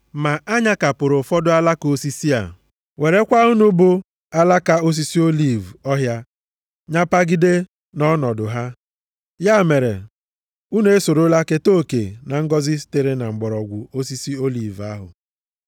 Ma a nyakapụrụ ụfọdụ alaka osisi a, werekwa unu bụ alaka osisi oliv ọhịa nyapagide nʼọnọdụ ha. Ya mere, unu esorola keta oke na ngọzị sitere na mgbọrọgwụ osisi oliv ahụ.